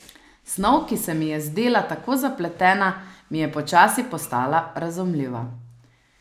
Snov, ki se mi je zdela tako zapletena, mi je počasi postala razumljiva.